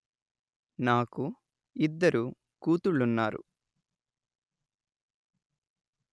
నాకు ఇద్దరు కూతుళ్ళున్నారు